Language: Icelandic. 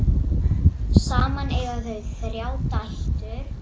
Saman eiga þau þrjár dætur.